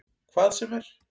Hvað sem er?